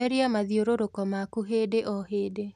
Therĩa mathiururuko maku hĩndĩ o hĩndĩ